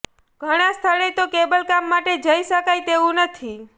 ઘણા સ્થળે તો કેબલકામ માટે જઈ શકાય તેવું નથી